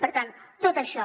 per tant tot això